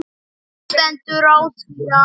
Hvernig stendur á því að